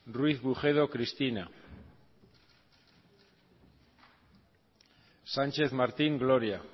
ruiz bujedo cristina sarasua díaz txaro sánchez martín gloria